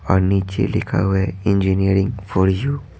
और नीचे लिखा हुआ है इंजीनियरिंग फॉर यू --